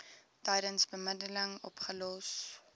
tydens bemiddeling opgelos